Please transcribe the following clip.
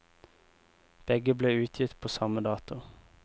Begge ble utgitt på samme dato.